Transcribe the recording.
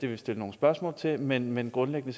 vi stille nogle spørgsmål til men men grundlæggende